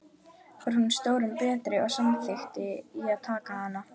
Var hún stórum betri, og samþykkti ég að taka hana.